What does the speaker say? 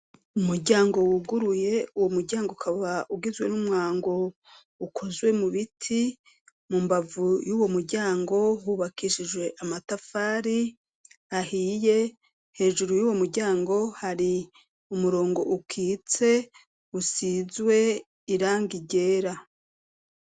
Umuryango wuguruye. Uwo muryango ukaba ugizwe n'umwango ukozwe mu biti. Mu mbavu y'uwo muryango hubakishijwe amatafari ahiye. Hejuru y'uwo muryango hari umurongo ukitse, usizwe irangi ryera.